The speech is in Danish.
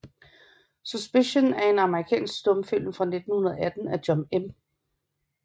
Suspicion er en amerikansk stumfilm fra 1918 af John M